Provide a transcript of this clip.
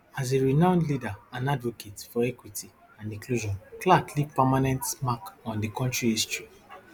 as a renowned leader and advocate for equity and inclusion clark leave permanent mark on di kontri history